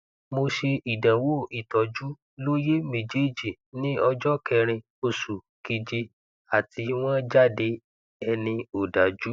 mo ṣe ìdánwò ìtọjú lóyè mejeji ní ọjọ kẹrin oṣù keje àti wọn jáde ẹni òdájú